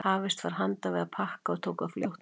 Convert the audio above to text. Hafist var handa við að pakka og tók það fljótt af.